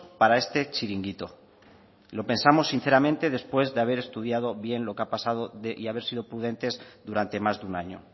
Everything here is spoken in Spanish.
para este chiringuito lo pensamos sinceramente después de haber estudiado bien lo que ha pasado y haber sido prudentes durante más de un año